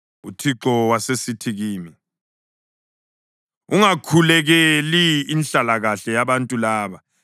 UThixo wasesithi kimi, “Ungakhulekeli inhlalakahle yabantu laba.